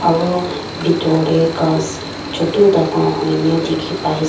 Aro bethor dae ghas chutu dangor hoineh dekhey pai ase.